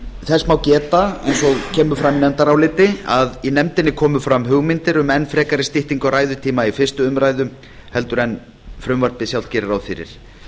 þess má geta eins og kemur fram í nefndaráliti að í nefndinni komu fram hugmyndir um enn frekari styttingu á ræðutíma í fyrstu umræðu en frumvarpið sjálft gerir ráð fyrir